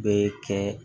Bɛɛ kɛ